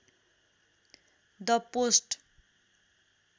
the post